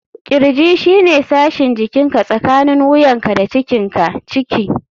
Kirji shine sashin jikinka tsakanin wuyanka da cikinka (ciki).